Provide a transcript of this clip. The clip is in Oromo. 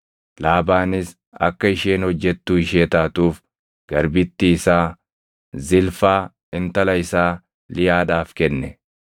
Laabaanis akka isheen hojjettuu ishee taatuuf garbittii isaa Zilfaa, intala isaa Liyaadhaaf kenne.